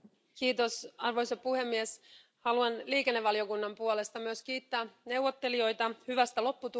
Arvoisa puhemies, haluan liikennevaliokunnan puolesta myös kiittää neuvottelijoita hyvästä lopputuloksesta.